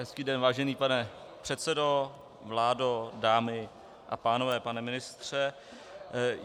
Hezký den, vážený pane předsedo, vládo, dámy a pánové, pane ministře.